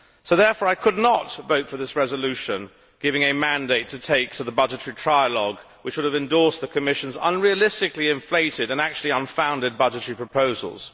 Therefore I could not vote for this resolution, giving a mandate to take to the budgetary trialogue which would have endorsed the Commission's unrealistically inflated and actually unfounded budgetary proposals.